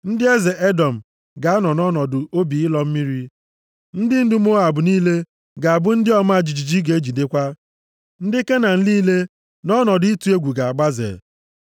Ndị eze Edọm ga-anọ nʼọnọdụ obi ịlọ mmiri. Ndị ndu Moab niile ga-abụ ndị ọma jijiji ga-ejidekwa, ndị Kenan niile nʼọnọdụ ịtụ egwu ga-agbaze;